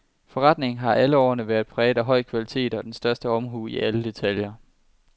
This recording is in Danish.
Forretningen har alle årene været præget af høj kvalitet og den største omhu i alle detaljer.